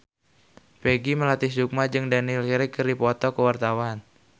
Peggy Melati Sukma jeung Daniel Craig keur dipoto ku wartawan